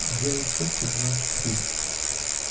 делать все чтобы нас выбесить